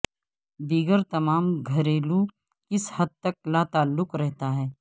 دیگر تمام گھریلو کسی حد تک لاتعلق رہتا ہے